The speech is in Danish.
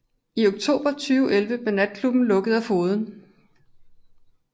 I oktober 2011 blev natklubben lukket af fogeden